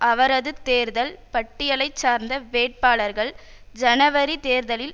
அவரது தேர்தல் பட்டியலைச் சார்ந்த வேட்பாளர்கள் ஜனவரி தேர்தலில்